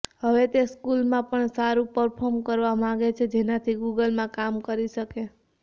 હવે તે સ્કૂલમાં પણ સારું પર્ફોમ કરવા માંગે છે જેનાથી ગૂગલમાં કામ કરી શકે